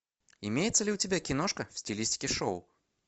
имеется ли у тебя киношка в стилистике шоу